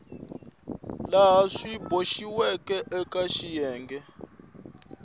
laha swi boxiweke eka xiyenge